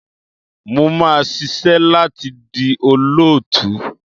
Mo máa ṣisẹ́ láti di olóòtú.